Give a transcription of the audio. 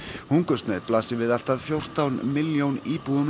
hungursneyð blasir við allt að fjórtán milljón íbúum